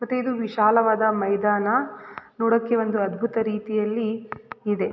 ಮತ್ತೆ ಇದು ವಿಶಾಲವಾದ ಮೈದಾನ ನೋಡಕ್ಕೆ ಒಂದು ಅದ್ಭುತ ರೀತಿಯಲ್ಲಿ ಇದೆ.